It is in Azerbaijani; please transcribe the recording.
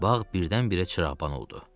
Bağ birdən-birə çırığban oldu.